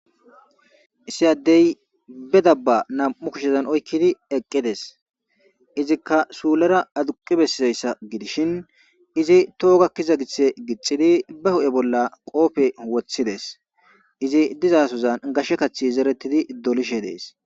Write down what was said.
issi addey be dabba nam7u kushezan oykkidi eqqides izikka suulera aduqi bessizayssa gidishin izi toogakkiza githhe gixidi ba hu7e bolla qoofe wothides izi dizasozan gashshe kathi zeretidi dolishe dees